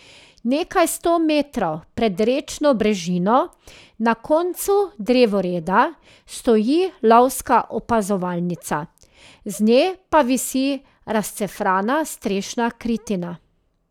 Nekaj sto metrov pred rečno brežino na koncu drevoreda stoji lovska opazovalnica, z nje pa visi razcefrana strešna kritina.